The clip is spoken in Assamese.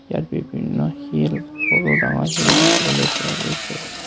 ইয়াত বিভিন্ন শিল সৰু ডাঙৰ শিল দেখিবলৈ পোৱা গৈছে।